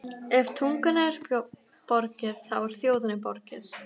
Ef tungunni er borgið, þá er þjóðinni borgið.